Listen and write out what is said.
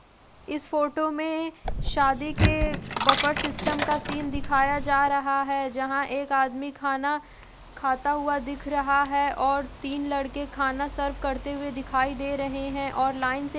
इस फोटो में शादी के बफर सिस्टम का सीन दिखाया जा रहा है जहां एक आदमी खाना खाता हुआ दिख रहा है और तीन लड़के खाना सर्व करते हुए दिखाई दे रहे हैं और लाइन से --